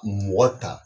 Mɔgɔ ta